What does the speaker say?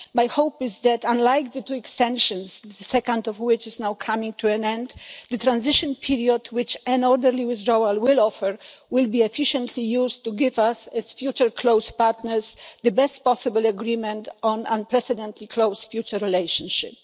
My hope is that, unlike the two extensions, the second of which is now coming to an end, the transition period which an orderly withdrawal will offer will be efficiently used to give us, as future close partners, the best possible agreement on unprecedented close future relationship.